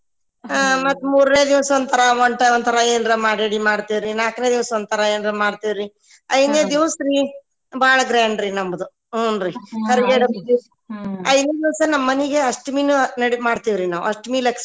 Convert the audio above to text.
ಹ್ಮ್‌ ಮತ್ತ ಮೂರನೇ ದಿವಸ ಮತ್ತ ಒಂದ ತರಾ ನಾಲ್ಕನೇ ದಿವಸ ಒಂತರಾ ಏನಾರಾ ಮಾಡ್ತೇವ್ರಿ ಐದನೇ ದಿವಸ್ರಿ ಬಾಳ grand ನಮ್ದ ಹುನ್ರಿ ಐದನೇ ದಿವಸ ನಮ್ ಮನಿಗ ಅಷ್ಟಮಿನ ಅಷ್ಟಮಿ ಲಕ್ಷ್ಮೀ ಅಂತ ಹೇಳಿ.